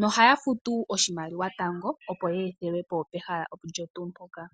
nohaya futu oshimaliwa tango, opo ye ethelwe po pehala olyo tuu mpoka.